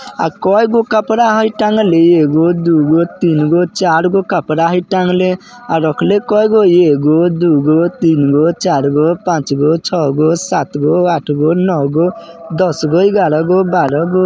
अ कईगो कपड़ा है टांगले? एगो दुगो तीनगो चारगो कपड़ा है टांगले| आर रखले केगो है? एगो दुगो तीनगो चारगो पाँचगो छहगो सातगो आठगो नोगो दसगो ग्यारहगो बारहगो --